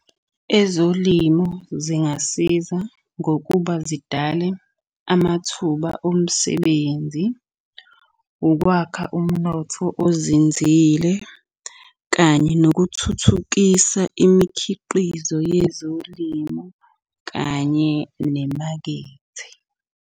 Ezolimo zingasiza ngokuba zidale amathuba omsebenzi, ukwakha umnotho ozinzile kanye nokuthuthukisa imikhiqizo yezolimo kanye nemakethe.